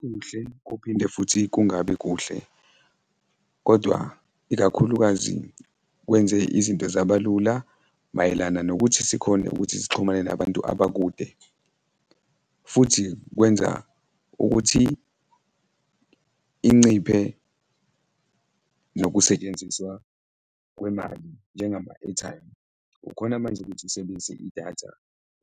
Kuhle kuphinde futhi kungabi kuhle kodwa ikakhulukazi kwenze izinto zaba lula mayelana nokuthi sikhone ukuthi sixhumane nabantu abakude futhi kwenza ukuthi inciphe nokusetshenziswa kwemali njengama-airtime. Ukhona manje ukuthi usebenzise idatha,